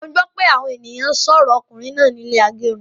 Mo gbọ pé àwọn ènìyàn n sọrọ ọkùnrin náà ní ilé agẹrun